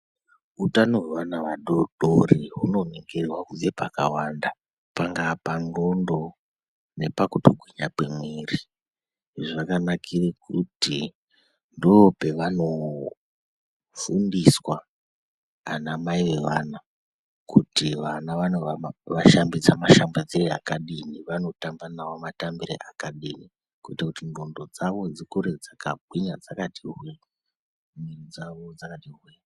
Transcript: Utano hwevaana vadodori hunoningirwa kubve pakawanda, pangaa pandhlondo nepakutokonya kwemwiri izvi zvakanakire kuti ndo pevanofundiswa anamai vevana kuti vana vanoshambidza mashambidzire akadini vanotamba navo matambire akadini kuitire kuti ndhlondo dzawo dzikure dzakagwinya dzakati hwe, miri dzawo dzakati hwe.